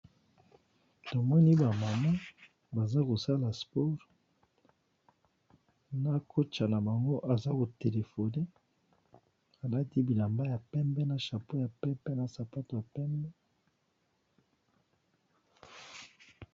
tomoni bamama baza kosala spore na kota na bango aza kotelefone alati bilamba ya pembe na chapeau ya pepe na sapato ya pembe